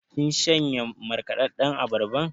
Kin shanye markaɗaɗɗan abarban?